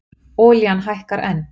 Olían hækkar enn